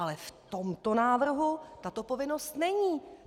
Ale v tomto návrhu tato povinnost není.